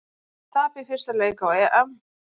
Tap í fyrsta leik á EM